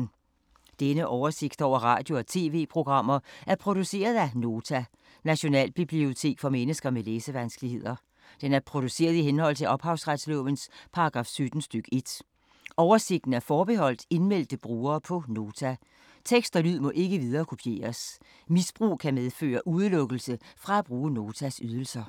Denne oversigt over radio og TV-programmer er produceret af Nota, Nationalbibliotek for mennesker med læsevanskeligheder. Den er produceret i henhold til ophavsretslovens paragraf 17 stk. 1. Oversigten er forbeholdt indmeldte brugere på Nota. Tekst og lyd må ikke viderekopieres. Misbrug kan medføre udelukkelse fra at bruge Notas ydelser.